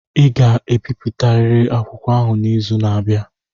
ị ga-ebipụtariri akwụkwọ ahụ n'izu na-abịa!